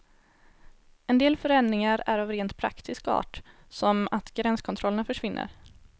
En del förändringar är av rent praktisk art, som att gränskontrollerna försvinner.